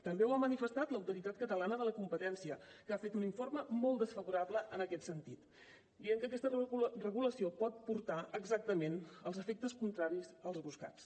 també ho ha manifestat l’autoritat catalana de la competència que ha fet un informe molt desfavorable en aquest sentit dient que aquesta regulació pot portar exactament els efectes contraris als buscats